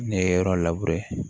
Ne ye yɔrɔ